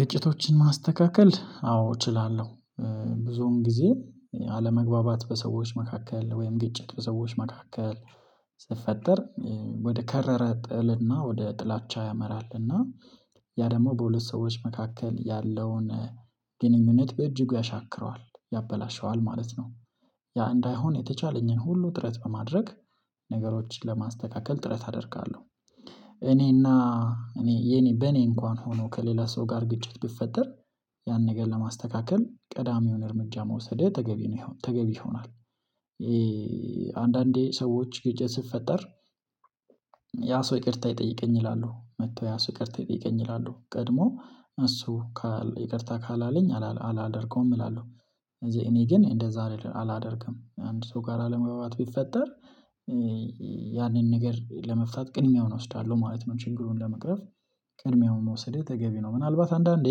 ግጭቶችን ማስተካከል አዎ እችላለሁ። ብዙን ጊዜ አለመግባባት በሰዎች መካከል ወይም ግጭት በሰዎች መካከል ሲፈጠር ወደ ከረረ ጥልና ወደ ጥላቻ ያመራል እና ያ ደግሞ በሁለት ሰዎች መካከል ያለውን ግንኙነት በእጅጉ ያሻክረዋል ያበላሸዋል ማለት ነው። ያ እንዳይሆን የተቻለኝን ሁሉ ጥረት በማድረግ ነገሮችን ለማስተካከል ጥረት አደርጋለሁ። እኔና እኔ የኔ በኔ እንኳን ሆኖ ከሌላ ሰው ጋር ግጭት ቢፈጠር ያን ነገር ለማስተካከል ቀዳሚውን እርምጃ መውሰድ ተገቢ ነው ይሆን ተገቢ ይሆናል። አንዳንዴ ሰዎች ግጭት ሲፈጠር ያ ሰው ይቅርታ ይጠይቀኝ ይላሉ መጥቶ ያ ሰው ይቅርታ ይጠይቀኝ ይላሉ ቀድሞ እሱ ይቅርታ ካላለኝ አላደርገውም ይላሉ። እኔ ግን እንደዛ አላደርግም አንድ ሰው ጋር አለመግባባት ቢፈጠር። ያንን ነገር ለመፍታት ቅድሚያውን እወስዳለሁ ማለት ነው። ችግሩን ለመቅረፍ ቅድሚያውን መውሰድ ተገቢ ነው። ምናልባት አንዳንዴ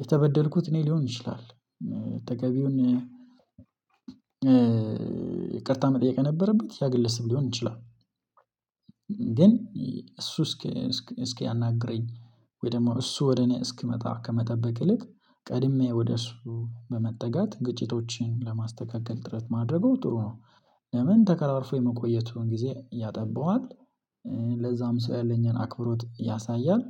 የተበደልኩት እኔ ሊሆን ይችላል። ተገቢውን ይቅርታ መጠየቅ የነበረበት ያ ግለስ ሊሆን ይችላል። ግን እሱ እስኪ እስኪ አናግረኝ ወይ ደግሞ እሱ ወደ እኔ እስኪመጣ ከመጠበቅ ይልቅ ቀድሜ ወደ እሱ በመጠጋት ግጭቶችን ለማስተካከል ጥረት ማድረገው ጥሩ ነው። ለምን ተኮራርፎ የመቆየቱን ጊዜ ያጠባዋል? ለዛም ሰው ያለኝን አክብሮት ያሳያል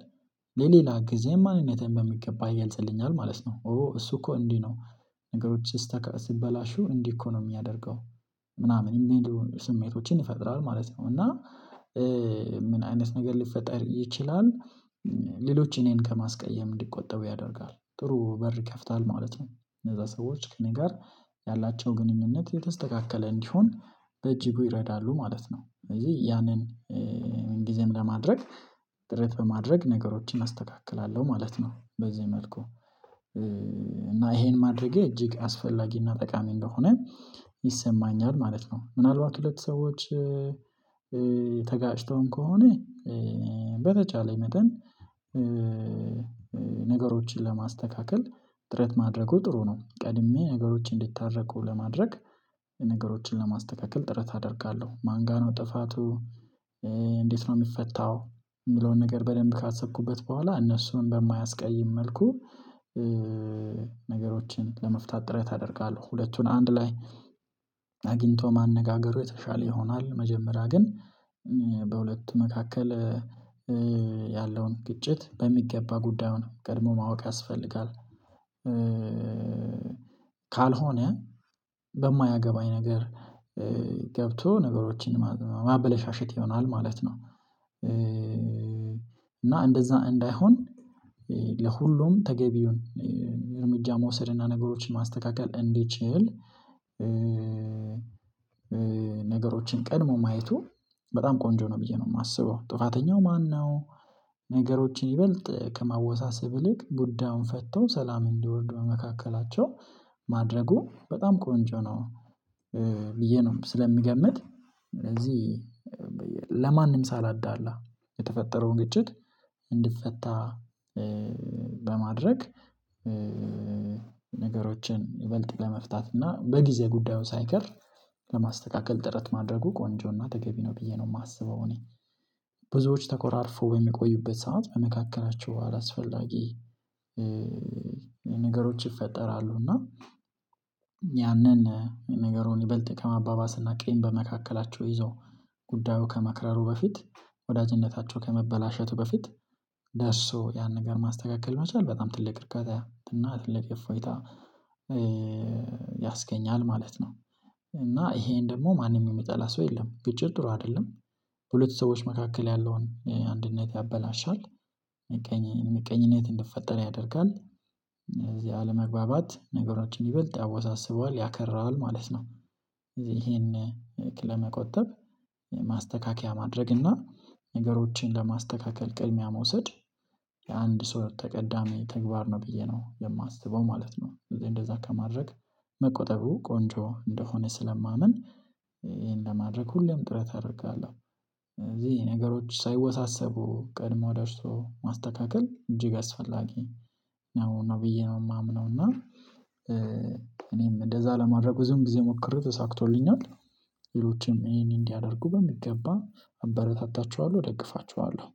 ለሌላ ጊዜም ማንነቴን በሚገባ ይገልጽልኛል ማለት ነው። ኦ እሱ እኮ እንዲህ ነው። ነገሮች ሲበላሹ እንዲህ እኮ ነው የሚያደርገው። ምናምን ስሜቶችን ይፈጥራል ማለት ነው። እና ምን አይነት ነገር ሊፈጠር ይችላል? ሌሎች እኔን ከማስቀየም እንዲቆጠቡ ያደርጋል ጥሩ በር ይከፍታል ማለት ነው። እነዛ ሰዎች ከእኔ ጋር ያላቸው ግንኙነት የተስተካከለ እንዲሆን በጅጉ ይረዳሉ ማለት ነው። ስለዚህ ያንን ጊዜም ለማድረግ ጥረት በማድረግ ነገሮችን አስተካክላለሁ ማለት ነው። በዚህ መልኩ እና ይሄን ማድረጌ እጅግ አስፈላጊና ጠቃሚ እንደሆነ ይሰማኛል ማለት ነው። ምናልባት ሁለት ሰዎች ተጋጭተውም ከሆነ በተቻለ መጠን ነገሮችን ለማስተካከል ጥረት ማድረጉ ጥሩ ነው። ቀድሜ ነገሮችን እንዲታረቁ ለማድረግ ነገሮችን ለማስተካከል ጥረት አደርጋለሁ። ማን ጋር ነው ጥፋቱ? እንዴት ነው የሚፈታው? የሚለውን ነገር በደንብ ካሰብኩበት በኋላ እነሱን በማያስቀይም መልኩ ነገሮችን ለመፍታት ጥረት አደርጋለሁ። ሁለቱን አንድ ላይ አግኝቶ ማነጋገሩ የተሻለ ይሆናል። መጀመሪያ ግን በሁለት መካከል ያለውን ግጭት በሚገባ ጉዳዩን ቀድሞ ማወቅ ያስፈልጋል። ካልሆነ በማያገባኝ ነገር ገብቶ ነገሮችን ማበላሸት ይሆናል ማለት ነው። እና እንደዛ እንዳይሆን ለሁሉም ተገቢውን እርምጃ መውሰድና ነገሮችን ማስተካከል እንዲችል ነገሮችን ቀድሞ ማየቱ በጣም ቆንጆ ነው። ብዬ ነው የማስበው ጥፋተኛው ማነው? ነገሮችን ይበልጥ ከማወሳሰብ ይልቅ ጉዳዩን ፈተው ሰላም እንዲወርዱ በመካከላቸው ማድረጉ በጣም ቆንጆ ነው። ብዬ ነው ስለምገምት። ስለዚህ ለማንም ሳላዳላ የተፈጠረውን ግጭት እንዲፈታ በማድረግ ነገሮችን ይበልጥ ለመፍታት እና በጊዜ ጉዳዩ ሳይከር ለማስተካከል ጥረት ማድረጉ ቆንጆና ተገቢ ነው። ብዬ ነው የማስበው። እኔ ብዙዎች ተኮራርፎ በሚቆዩበት ሰዓት በመካከላቸው አላስፈላጊ ነገሮች ይፈጠራሉ። እና ያንን ነገሩን ይበልጥ ከማባባስና ቂም በመካከላቸው ይዘው ጉዳዩ ከመክረሩ በፊት ወዳጅነታቸው ከመበላሸቱ በፊት ደርሶ ያን ነገር ማስተካከል መቻል በጣም ትልቅ እርካታ እና ትልቅ ኢፎይታ ያስገኛል ማለት ነው። እና ይሄን ደግሞ ማንም የሚጠላ ሰው የለም። ግጭት ጥሩ አይደለም። በሁለት ሰዎች መካከል ያለውን አንድነት ያበላሻል። ምቀኝነት እንዲፈጠረ ያደርጋል። እነዚህ አለመግባባት ነገሮችን ይበልጥ ያወሳስበዋል ያከራዋል ማለት ነው። እዚህ ይሄን ለመቆጠብ ማስተካከያ ማድረግ እና ነገሮችን ለማስተካከል ቅድሚያ መውሰድ። የአንድ ሰው ተቀዳሚ ተግባር ነው ብዬ ነው የማስበው ማለት ነው። ስለዚህ እንደዛ ከማድረግ መቆጠቡ ቆንጆ እንደሆነ ስለማምን ይሄን ለማድረግ ሁሌም ጥረት አደርጋለሁ። ስለዚህ ነገሮች ሳይወሳሰቡ ቀድሞ ደርሶ ማስተካከል እጅግ አስፈላጊ ነው ብዬ ነው የማምነው። እና እኔም እንደዛ ለማድረግ ብዙም ጊዜ ሞክሬ ተሳክቶልኛል። ሌሎችም ይሄን እንዲያደርጉ በሚገባ አበረታታቸዋለሁ እደግፋቸዋለሁ።